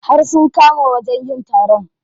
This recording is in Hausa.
Har sun kama wajen yin taron.